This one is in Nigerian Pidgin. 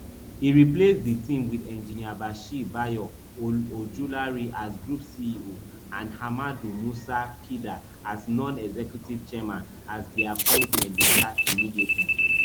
e replace di team wit engineer bashir bayo ojulari as group ceo and ahmadu musa kida as nonexecutive chairman as dia appointment dey start immediately